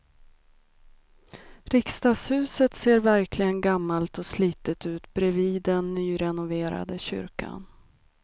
Riksdagshuset ser verkligen gammalt och slitet ut bredvid den nyrenoverade kyrkan.